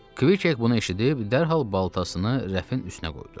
Kvik bunu eşidib, dərhal baltasını rəfin üstünə qoydu.